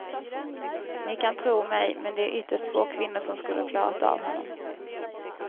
Ni kan tro mig, men det är ytterst få kvinnor som skulle ha klarat av honom.